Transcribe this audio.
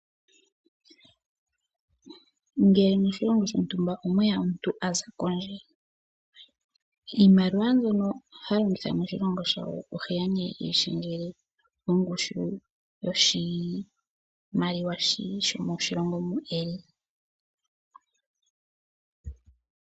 Ngele moshilongo shontumba omwe ya omuntu a za kondje, iimaliwa mbyono ha longitha moshilongo shawo ohe ya nee eyi shendjele mongushu yoshimaliwa shomoshilongo mu e li.